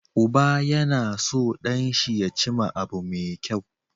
Uba yAna so dan shi ya cima abu me kyau